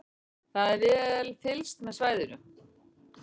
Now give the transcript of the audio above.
Það er fylgst vel með svæðinu